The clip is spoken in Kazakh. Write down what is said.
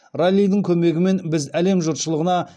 раллидің көмегімен біз әлем жұртшылығына